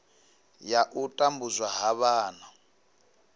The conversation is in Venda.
ya u tambudzwa ha vhana